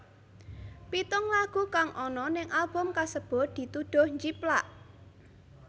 Pitung lagu kang ana ning album kasebut dituduh njiplak